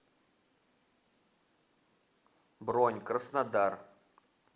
бронь краснодар